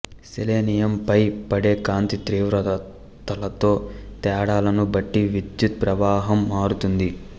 selenium పై పడే కాంతి తీవ్రతలలో తేడాలను బట్టి విద్యుత్ ప్రవాహం మారుతుంది